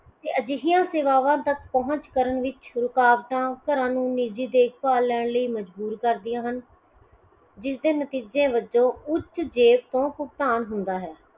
ਅਜਿਹੀਆਂ ਸੇਵਾਵਾਂ ਤਕ ਪਹੁੰਚ ਕਰਨ ਵਿੱਚ ਰੁਕਾਵਟਾਂ ਘਰਾਂ ਨੂੰ ਨਿੱਜੀ ਦੇਖ ਭਾਲ ਲੈਣ ਲਈ ਮਜ਼ਬੂਰ ਕਰਦੀਆਂ ਹਨ ਜਿਸ ਦੇ ਨਤੀਜੇ ਵਜੋਂ ਉੱਚ ਦੇਰ ਤੋਂ ਭੁਗਤਾਨ ਹੁੰਦਾ ਹੈ